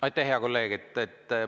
Aitäh, hea kolleeg!